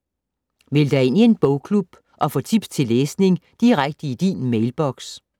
Meld dig ind i en bogklub og få tips til læsning direkte i din mailboks